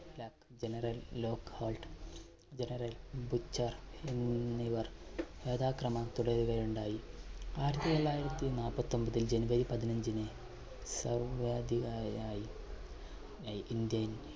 general Lockhart, general Bucher എന്നിവർ യഥാക്രമം തുടരുകയുണ്ടായി. ആയിരത്തി തൊള്ളായിരത്തി നാൽപ്പത്തി ഒൻപത്തിൽ January പതിനഞ്ചിന് സർവ്വാധികാരിയായി അ indian